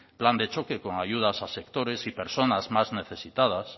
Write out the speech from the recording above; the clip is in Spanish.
plan de choque con ayudas a sectores y personas más necesitadas